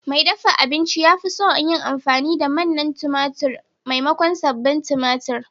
Mai dafa abinci ya fi son yin amfani da manna tumatir maimakon sabbin tumatir.